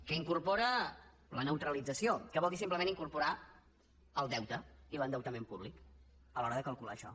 que incorpora la neutralització que vol dir simplement incorporar el deute i l’endeutament públic a l’hora de calcular això